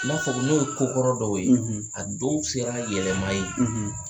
N'a fɔ n'o ye ko kɔrɔ dɔw ye, a dɔw sera yɛlɛma ye, .